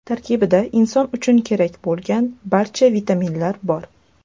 Tarkibida inson uchun kerak bo‘lgan barcha vitaminlar bor.